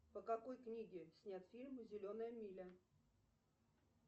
по какой книге снят фильм зеленая миля